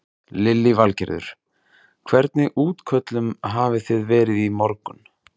Lillý Valgerður: Hvernig útköllum hafi þið verið í morgun?